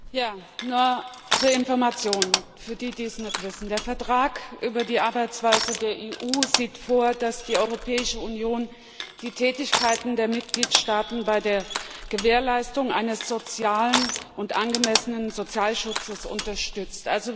Herr Präsident! Nur zur Information, für diejenigen, die es nicht wissen Der Vertrag über die Arbeitsweise der Europäischen Union sieht vor, dass die Europäische Union die Tätigkeiten der Mitgliedstaaten bei der Gewährleistung eines sozialen und angemessenen Sozialschutzes unterstützt.